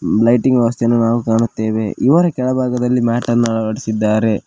Lighting ವ್ಯವಸ್ಥೆಯನ್ನು ನಾವು ಕಾಣುತ್ತೇವೆ ಇವರ ಕೆಳಭಾಗದಲ್ಲಿ ಮ್ಯಾಟನ್ನು ಅಳವಡಿಸಿದ್ದಾರೆ.